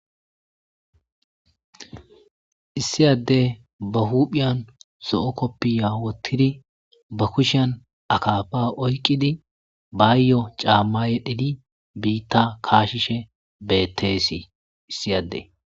Issi addey ba huuphiyan so7o koppi ya wottidi ba kushiyan akaafa oyqqidi baayyo caamma yedhidi biitta kaashishe betteesii issi adde.